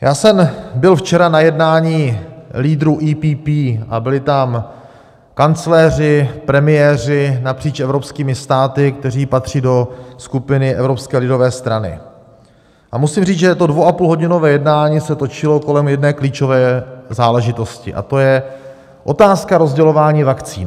Já jsem byl včera na jednání lídrů EPP a byli tam kancléři, premiéři napříč evropskými státy, kteří patří do skupiny Evropské lidové strany, a musím říct, že to dvouapůlhodinové jednání se točilo kolem jedné klíčové záležitosti, a to je otázka rozdělování vakcín.